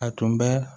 A tun bɛ